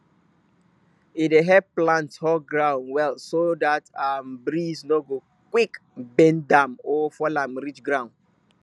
e dey help plant hold ground well so dat um breeze no go quick bend am or fall am reach ground